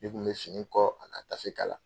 Ne tun bɛ fini kɔ a ka tafe k'a la.